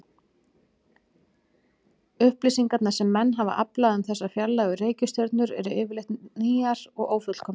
Upplýsingarnar sem menn hafa aflað um þessar fjarlægu reikistjörnur eru yfirleitt rýrar og ófullkomnar.